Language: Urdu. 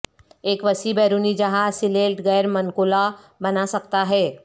ایک وسیع بیرونی جہاز سیلیلٹ غیر منقولہ بنا سکتا ہے